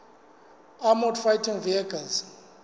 armoured fighting vehicles